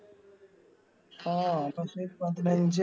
ആ പക്ഷെ പതിനഞ്ച്